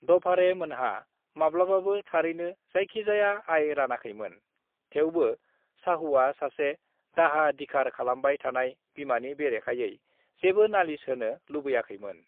"दभाड़े मोनहा माब्लाबाबो थारैनो जायखिजाया आय रानाखैमोन, थेवबो शाहुआ सासे दाहा दिखार खालामबाय थानाय बिमानि बेरेखायै जेबो नालिश होनो लुबैयाखैमोन।"